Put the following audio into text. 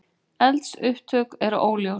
Eldsupptök eru óljós